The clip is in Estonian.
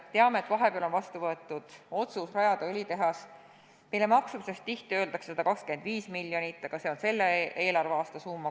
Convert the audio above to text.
Teame, et vahepeal on vastu võetud otsus rajada õlitehas, mille maksumuseks öeldakse tihti 125 miljonit, aga see on tegelikult ainult selle eelarveaasta summa.